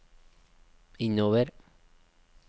innover